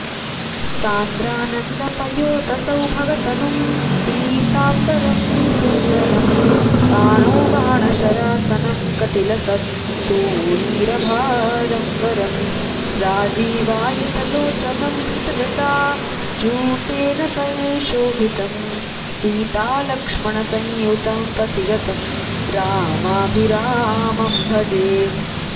सान्द्रानन्दपयोदसौभगतनुं पीताम्बरं सुन्दरं पाणौ बाणशरासनं कटिलसत्तूणीरभारं वरम् राजीवायतलोचनं धृतजटाजूटेन संशोभितं सीतालक्ष्मणसंयुतं पथिगतं रामाभिरामं भजे